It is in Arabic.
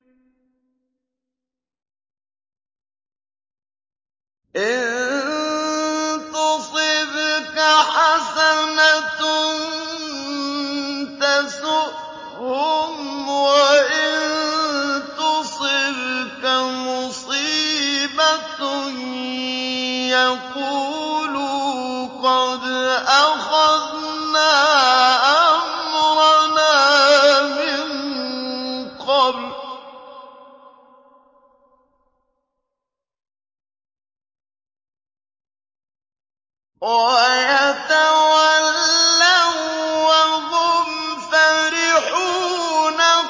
إِن تُصِبْكَ حَسَنَةٌ تَسُؤْهُمْ ۖ وَإِن تُصِبْكَ مُصِيبَةٌ يَقُولُوا قَدْ أَخَذْنَا أَمْرَنَا مِن قَبْلُ وَيَتَوَلَّوا وَّهُمْ فَرِحُونَ